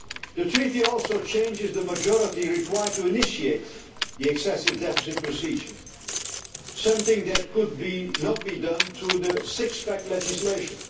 debt. The treaty also changes the majority required to initiate the excessive deficit procedure something that could not be done through the six pack legislation.